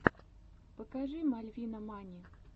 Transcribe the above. покажи мальвинамани